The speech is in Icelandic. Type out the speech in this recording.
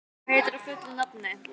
Olli, hvað heitir þú fullu nafni?